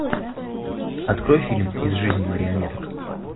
открой фильм из жизни марионеток